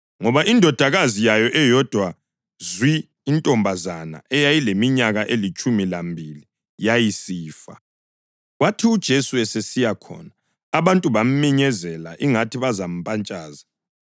ngoba indodakazi yayo eyodwa zwi, intombazana eyayileminyaka elitshumi lambili, yayisifa. Kwathi uJesu esesiya khona abantu baminyezela ingathi bazampatshaza.